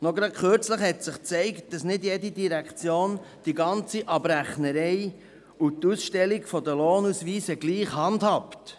Gerade kürzlich hat sich gezeigt, dass nicht jede Direktion das ganze Abrechnungswesen und die Ausstellung der Lohnausweise gleich handhabt.